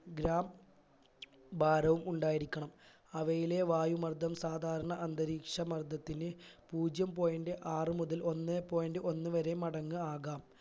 gram ഭാരവും ഉണ്ടായിരിക്കണം അവയിലെ വായു മർദ്ദം സാധാരണ അന്തരീക്ഷ മർദ്ദത്തിന് പൂജ്യം point ആറ് മുതൽ ഒന്ന് point ഒന്ന് വരെ മടങ്ങ് ആകാം